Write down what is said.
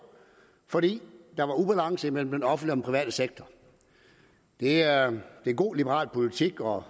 fordi der var ubalance mellem den offentlige private sektor det er god liberal politik og